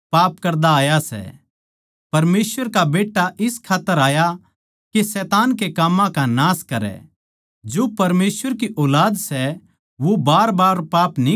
परमेसवर की अर शैतान की ऊलाद की पिच्छाण इस्से तै हो ज्या सै कोए भी माणस जिसका जीवन धार्मिकता का कोनी वो परमेसवर की ओड़ तै कोनी अर ना ए वो जिसनै अपणे भाई तै प्यार न्ही करया